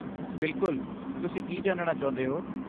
ਬਿਲਕੁਲ, ਤੁਸੀਂ ਕੀ ਜਾਣਨਾ ਚਾਹੁੰਦੇ ਹੋ?